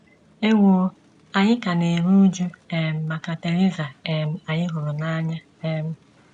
Ewo, anyị ka na - eru újú um maka Theresa um anyị hụrụ n’anya um.